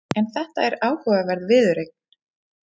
En þetta er áhugaverð viðureign.